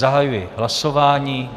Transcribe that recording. Zahajuji hlasování.